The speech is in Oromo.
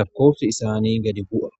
lakkoobsi isaanii gad bu'a.